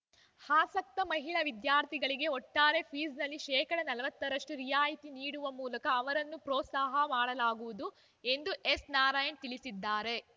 ಆಸಕ್ತ ಮಹಿಳಾ ವಿದ್ಯಾರ್ಥಿಗಳಿಗೆ ಒಟ್ಟಾರೆ ಫೀಸ್‌ನಲ್ಲಿ ಶೇಕಡಾ ನಲವತ್ತ ರಷ್ಟುರಿಯಾಯಿತಿ ನೀಡುವ ಮೂಲಕ ಅವರನ್ನು ಪೋತ್ಸಾಹ ಮಾಡಲಾಗುವುದು ಎಂದು ಎಸ್‌ ನಾರಾಯಣ್‌ ತಿಳಿಸಿದ್ದಾರೆ